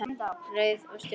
Rauði og Stjörnu.